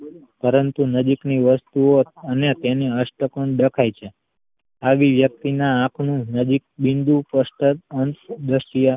પરંતુ નજીક ની વસ્તુ ઓ અને તેને અષ્ટકોણ દેખાઈ છે આવી વ્યક્તિના આંખ નું નજીક બિંદુ સ્પષ્ટ જ અંશ દ્રષ્ટિ